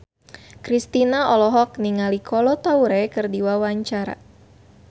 Kristina olohok ningali Kolo Taure keur diwawancara